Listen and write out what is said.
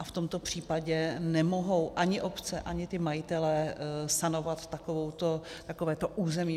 A v tomto případě nemohou ani obce, ani ti majitelé sanovat takovéto území.